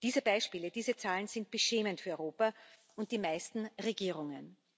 Diese Beispiele, diese Zahlen sind beschämend für Europa und die meisten Regierungen.